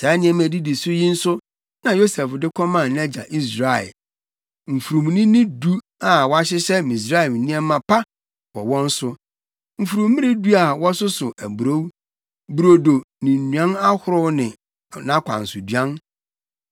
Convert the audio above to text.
Saa nneɛma a edidi so yi nso na Yosef de kɔmaa nʼagya Israel: mfurumnini du a wɔahyehyɛ Misraim nneɛma pa wɔ wɔn so, mfurummmere du a wɔsoso aburow, brodo ne nnuan ahorow ne nʼakwansoduan.